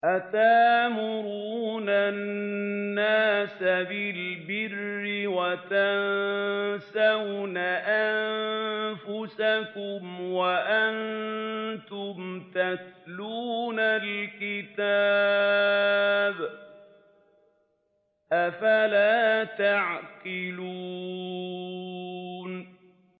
۞ أَتَأْمُرُونَ النَّاسَ بِالْبِرِّ وَتَنسَوْنَ أَنفُسَكُمْ وَأَنتُمْ تَتْلُونَ الْكِتَابَ ۚ أَفَلَا تَعْقِلُونَ